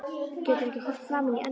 Getur ekki horft framan í Önnu